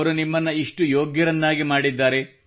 ಅವರು ನಿಮ್ಮನ್ನು ಇಷ್ಟು ಯೋಗ್ಯರನ್ನಾಗಿ ಮಾಡಿದ್ದಾರೆ